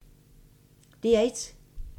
DR1